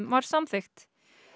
var samþykkt